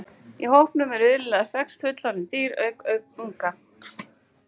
Í hópnum eru iðulega sex fullorðin dýr auk unga.